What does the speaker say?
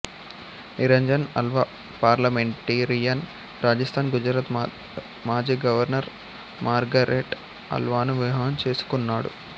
Niranjan Alva parliamentarian Rajasthan Gujarat మాజీ governor Margaret అల్వాను వివాహం చేసుకున్నాడు